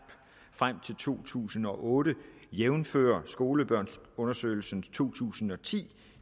frem til to tusind og otte jævnfør skolebørnsundersøgelsen to tusind og ti